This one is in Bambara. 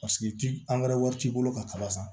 Paseke ti angɛrɛ wari t'i bolo ka kala san